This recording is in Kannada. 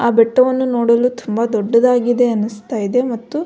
ಆ ಬೆಟ್ಟವನ್ನು ನೋಡಲು ತುಂಬ ದೊಡ್ಡದಾಗಿದೆ ಅನ್ನಿಸ್ತಿದೆ ಮತ್ತು --